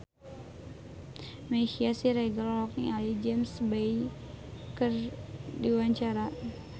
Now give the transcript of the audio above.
Meisya Siregar olohok ningali James Bay keur diwawancara